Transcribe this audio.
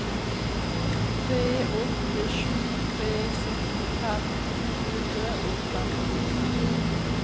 tre åtte sju tre syttifem to hundre og femtifem